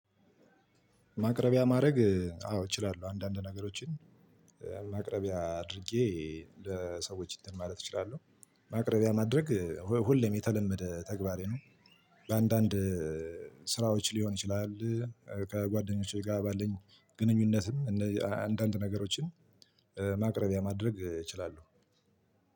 ማቅረቢያ ማድረግ አዎ እችላለሁ አንዳንድ ነገሮችን ማቅረቢያ አድርጌ ለሰዎች ማለት እችላለሁ። ማቅረቢያ ማድረግ ሁሌም የተለመደ ተግባሬ ነው። በአንዳንድ ስራዎች ሊሆን ይችላል። ከጓደኞቼ ጋር ባለን ግንኙነትም እንደዚ አንዳንድ ነገሮችን ማቅረቢያ ማድረግ እችላለሁ።